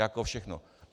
Jako všechno.